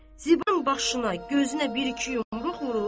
Zibərin başına, gözünə bir-iki yumruq vurdu.